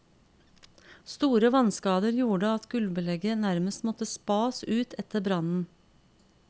Store vannskader gjorde at gulvbelegget nærmest måtte spas ut etter brannen.